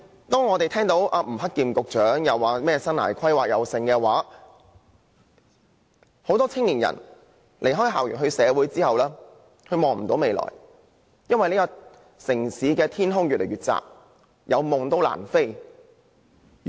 當吳克儉局長大談生涯規劃時，其實很多青年人在離開校園投身社會後皆看不見未來，因為這個城市的天空越來越窄，即使有夢想，亦難以起飛追尋。